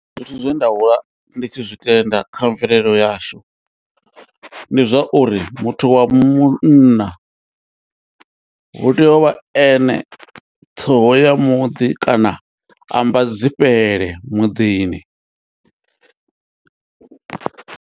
Zwithu zwe nda hula ndi tshi zwi tenda kha mvelelo yashu ndi zwa uri muthu wa munna hu tea uvha ene ṱhoho ya muḓi kana ambadzifhele muḓini.